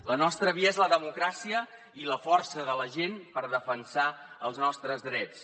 la nostra via és la democràcia i la força de la gent per defensar els nostres drets